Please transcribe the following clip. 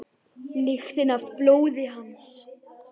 Lyktina af blóði hans.